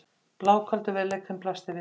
Blákaldur veruleikinn blasti við mér.